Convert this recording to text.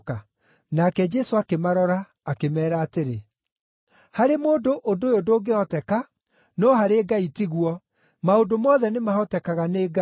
Nake Jesũ akĩmarora, akĩmeera atĩrĩ, “Harĩ mũndũ ũndũ ũyũ ndũngĩhoteka, no harĩ Ngai tiguo; maũndũ mothe nĩ mahotekaga nĩ Ngai.”